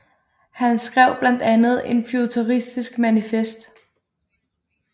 Han skrev blandt andet et futuristisk manifest